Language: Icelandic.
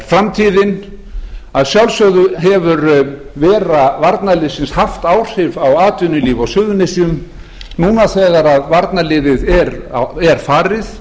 framtíðin að sjálfsögðu hefur vera varnarliðsins haft áhrif á atvinnulíf á suðurnesjum núna þegar varnarliðið er farið